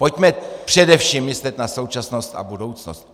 Pojďme především myslet na současnost a budoucnost.